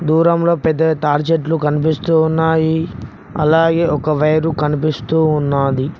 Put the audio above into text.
దూరంలో పెద్దవి తాడిచెట్లు కనిపిస్తూ ఉన్నాయి అలాగే ఒక వైరు కనిపిస్తూ ఉన్నాది.